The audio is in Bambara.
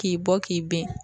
K'i bɔ k'i bɛn.